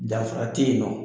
Danfara tɛ yen nɔ